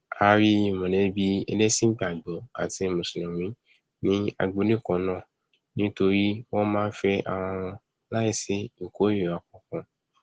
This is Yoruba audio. a rí mọlẹbí ẹlẹsìn ìgbàgbọ àti mùsùlùmí ní agbolé kannáà nítorí wọn a máa fẹ arawọn láì sí ìkórira kankan